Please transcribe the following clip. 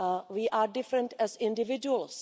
We are different as individuals.